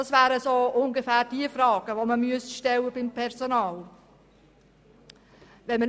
Das wären ungefähr die Fragen, die man beim Personal stellen müsste.